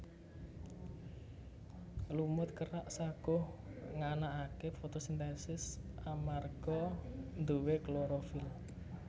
Lumut kerak saguh nganakake fotosintesis amarga nduwe klorofil